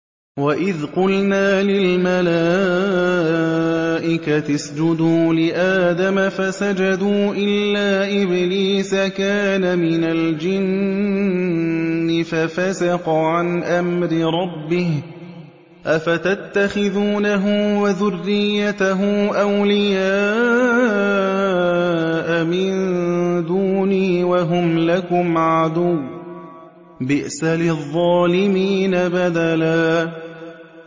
وَإِذْ قُلْنَا لِلْمَلَائِكَةِ اسْجُدُوا لِآدَمَ فَسَجَدُوا إِلَّا إِبْلِيسَ كَانَ مِنَ الْجِنِّ فَفَسَقَ عَنْ أَمْرِ رَبِّهِ ۗ أَفَتَتَّخِذُونَهُ وَذُرِّيَّتَهُ أَوْلِيَاءَ مِن دُونِي وَهُمْ لَكُمْ عَدُوٌّ ۚ بِئْسَ لِلظَّالِمِينَ بَدَلًا